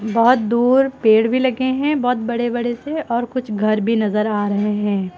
बहोत दूर पेड़ भी लगे हैं बहोत बड़े बड़े से और कुछ घर भी नजर आ रहे हैं।